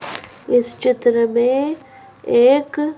इस चित्र में एक --